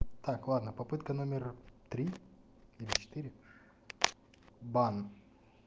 так ладно попытка номер три или четыре бан